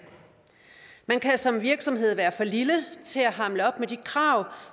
man kan som virksomhed være for lille til at hamle op med de krav